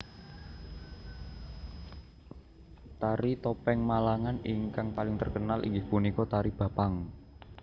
Tari topeng Malangan ingkang paling terkenal inggih punika tari Bapang